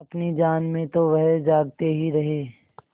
अपनी जान में तो वह जागते ही रहे